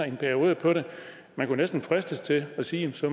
i en periode man kunne næsten fristes til at sige at så